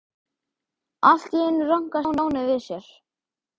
Allt í einu rankaði Stjáni við sér.